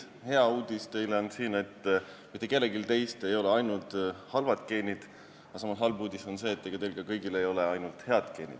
Hea uudis on see, et mitte kellelgi teist ei ole ainult halvad geenid, aga samas halb uudis on see, et kõigil ei ole ka ainult head geenid.